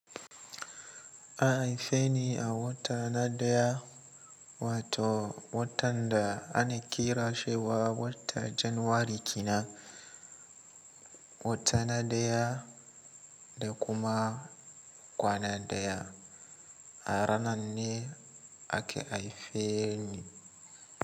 An haife ni a wata na ɗaya wato watan da ana kiran shi wata Janaury kenan wata na ɗaya da kuma kwana ɗaya. A ranan ne aka haife ni.